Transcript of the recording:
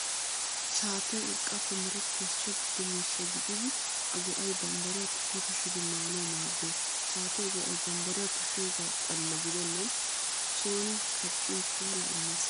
Shaatee urqqaappe merettiyaa so giddo miishsha gididi a go'ay bambbariyaa tushi tushidi maanawu maaddees. Shaatiyaa go'ay bambbariyaa tushiyoogaa xalla gidennan sooni kaqqin puulaa immees.